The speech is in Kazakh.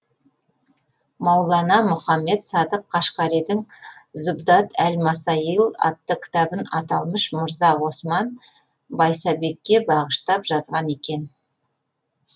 маулана мұхаммед садық қашғаридің зубдат әл масаил атты кітабын аталмыш мырза осман байсабекке бағыштап жазған екен